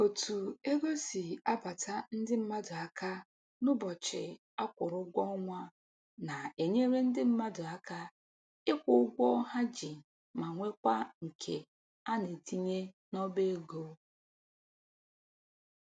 Otu ego si abata ndị mmadụ aka n'ụbọchị a kwụrụ ụgwọ ọnwa na-enyere ndị mmadụ aka ịkwụ ụgwọ ha ji ma nwekwa nke a na-etinye n'ọba ego